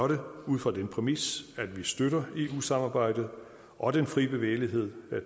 det ud fra den præmis at vi støtter eu samarbejdet og den frie bevægelighed